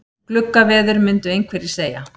Gluggaveður myndu einhverjir segja.